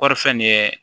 Kɔri fɛn nin ye